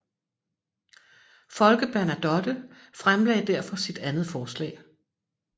Folke Bernadotte fremlagde derfor sit andet forslag